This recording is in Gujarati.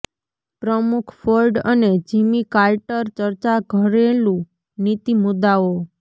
પ્રમુખ ફોર્ડ અને જિમી કાર્ટર ચર્ચા ઘરેલુ નીતિ મુદ્દાઓ